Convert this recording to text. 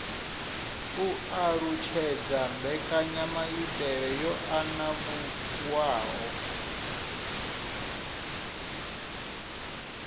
u alutshedza mbekanyamaitele yo anavhuwaho